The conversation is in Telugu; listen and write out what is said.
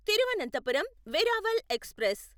తిరువనంతపురం వెరావల్ ఎక్స్ప్రెస్